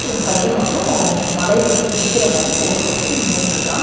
ஒரு பைய மட்டு மலையிலிருந்து குதிக்கிற மாரி போஸ் குடுத்துட்டு நின்னுட்ருக்கான்.